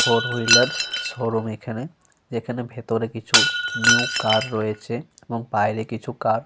Four wheeler showroom এখানে। এখানে ভিতরে কিছু নিউ কার রয়েছে এবং বাইরে কিছু কার --